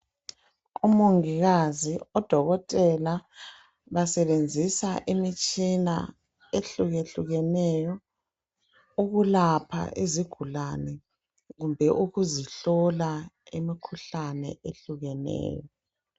Umongikazi udokotela basebenzisa imitshina ehlukehlukeneyo ukulapha izigulane lokuzihlola imikhuhlane ehlukeneyo